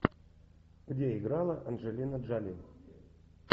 где играла анджелина джоли